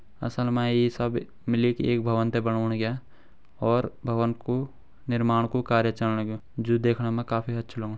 असल मा ये सब मिली के एक भवन थें बनौण लगायां और भवन कु निरमाण कु कार्य चलण लगयूं जो दिखणा में काफी अच्छु लगणू।